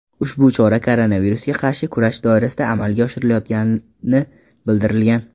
Ushbu chora koronavirusga qarshi kurash doirasida amalga oshirilayotganibildirilgan.